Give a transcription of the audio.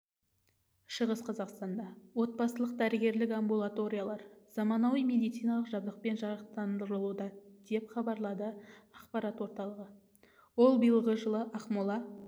шығыс қазақстанда отбасылық-дәрігерлік амбулаториялар заманауи медициналық жабдықпен жарақтандырылуда деп хабарлады ақпарат орталығы ол биылғы жылы ақмола